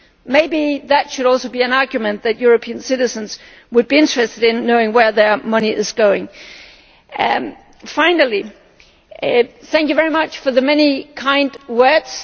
Maybe that could also be an argument for European citizens being interested in knowing where their money is going. Finally, thank you very much for the many kind words.